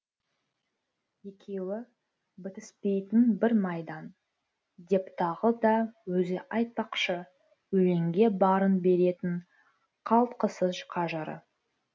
екеуі бітіспейтін бір майдан деп тағы да өзі айтпақшы өлеңге барын беретін қалтқысыз қажыры